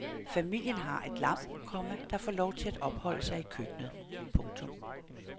Familien har et lam, komma der får lov til at opholde sig i køkkenet. punktum